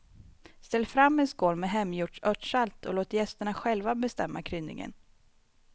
Ställ fram en skål med hemgjort örtsalt och låt gästerna själva bestämma kryddningen.